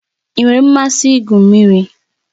Ị nwere mmasị igwu mmiri?